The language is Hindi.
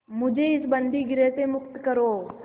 मुझे इस बंदीगृह से मुक्त करो